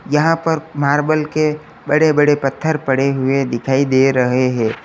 यहाँ पर मार्बल के बड़े बड़े पत्थर पड़े हुए दिखाई दे रहे हैं।